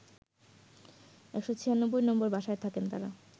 ১৯৬ নম্বর বাসায় থাকেন তারা